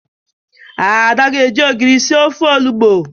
Ada ga-eji ogiri sir ofe onụgbọ